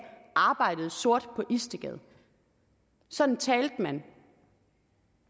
arbejdede sort på istedgade sådan talte man